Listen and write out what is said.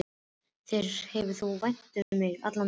Þér hefur þótt vænt um mig allan tímann.